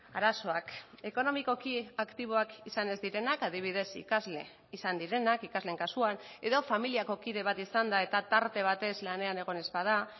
arazoak ekonomikoki aktiboak izan ez direnak adibidez ikasle izan direnak ikasleen kasuan edo familiako kide bat izanda eta tarte batez lanean egon ez bada